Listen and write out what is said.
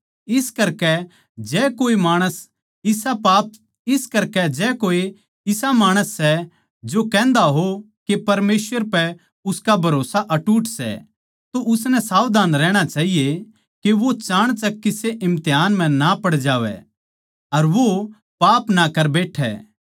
इस करकै जै कोए इसा माणस सै जो कहन्दा हो के परमेसवर पै उसका भरोस्सा अटूट सै तो उसनै सावधान रहणा चाहिए के वो चाणचक किसे इम्तिहान म्ह ना पड़ जावै अर वो पाप ना कर बैठै